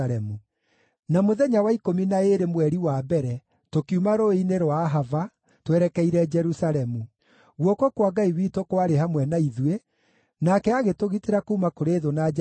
Na mũthenya wa ikũmi na ĩĩrĩ mweri wa mbere tũkiuma rũũĩ-inĩ rwa Ahava twerekeire Jerusalemu. Guoko kwa Ngai witũ kwarĩ hamwe na ithuĩ, nake agĩtũgitĩra kuuma kũrĩ thũ na njangiri njĩra-inĩ.